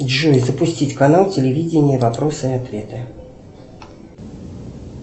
джой запустить канал телевидения вопросы и ответы